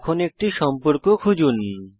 এখন একটি সম্পর্ক খুঁজুন